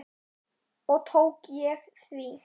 Og tók ég því.